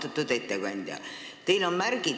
Austatud ettekandja!